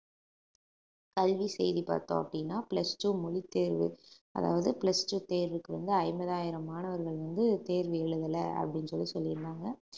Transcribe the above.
கல்வி செய்தி பார்த்தோம் அப்படின்னா plus two மொழித்தேர்வு அதாவது plus two தேர்வுக்கு வந்து ஐம்பதாயிரம் மாணவர்கள் வந்து தேர்வு எழுதல அப்படின்னு சொல்லி சொல்லீருந்தாங்க